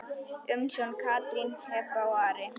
Umsjón Katrín, Heba og Ari.